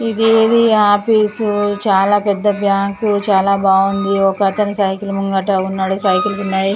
ఇది ఏది ఆఫీసు చాలా పెద్ద బ్యాంకు చాలా బాగుంది ఒకతను సైకిల్ ముంగట ఉన్నాడు సైకిల్స్ ఉన్నాయి.